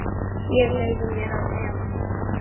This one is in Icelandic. Ég leyfi mér að efast.